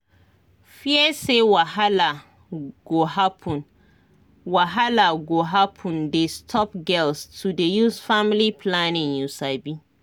fear say wahala go happen wahala go happen dey stop girls to dey use family planning you sabi